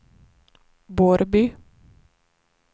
Borrby